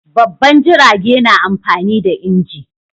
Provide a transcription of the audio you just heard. Babban jirage na amfani da inji